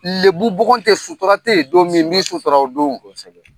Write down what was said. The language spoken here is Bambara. Lebubugun tɛ sutura tɛ yen don min n b'i sutura o don, kosɛbɛ.